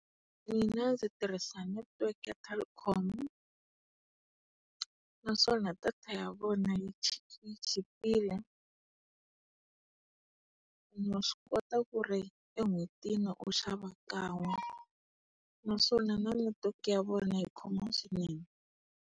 Mina ndzi tirhisa netiweke ya Telkom. Naswona data ya vona yi yi chipile. Ene wa swi kota ku ri en'hwetini u xava kan'we naswona na netiweke ya vona yi khoma swinene.